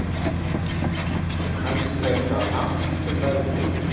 og kannski er það hann sem ræður því.